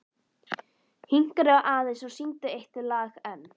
Hinkraðu aðeins og syngdu eitt lag enn.